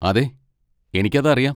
അതെ, എനിക്ക് അത് അറിയാം.